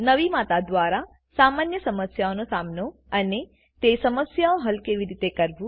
નવી માતા દ્વારા સામાન્ય સમસ્યાઓ નો સામનો અને તે સમસ્યાઓ હલ કેવી રીતે કરવું